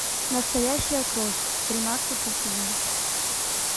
настоящая кровь тринадцатый сезон